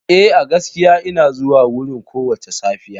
Eh, a gaskiya ina zuwa wurin kowace safiya.